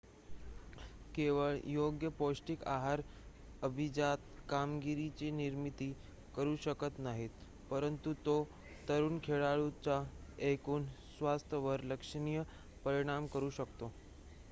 केवळ योग्य पौष्टिक आहार अभिजात कामगिरीची निर्मिती करू शकत नाहीत परंतु तो तरुण खेळाडूच्या एकूण स्वास्थ्यावर लक्षणीय परिणाम करू शकतो